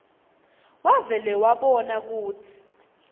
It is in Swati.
wavele wabona kutsi